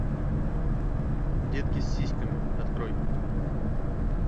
детки с сиськами открой